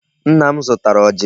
Nna m zụtara ọjị.